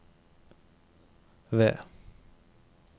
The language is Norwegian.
ved